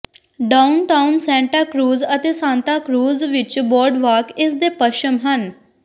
downtown Santa Cruz ਅਤੇ Santa Cruz beach boardwalk ਇਸ ਦੇ ਪੱਛਮ ਹਨ